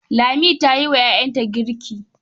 Lami ta yi wa ƴaƴanta girk.